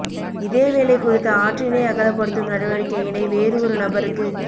இதே வேளை குறித்த ஆற்றினை அகலபடுத்தும் நடவடிக்கையினை வேறு ஒரு நபருக்கு